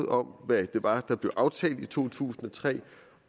om hvad det var der blev aftalt i to tusind og tre